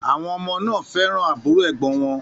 Àwọn ọmọ náà fẹ́ràn àbúrò ẹ̀gbọ́n wọn